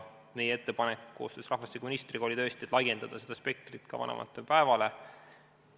Meie ettepanek oli koos rahvastikuministriga tõesti selline, et laiendada seda spektrit ka vanavanemate päevale.